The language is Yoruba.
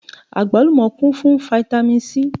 Àgbálùmọ́ kún fún fáítámì Sí.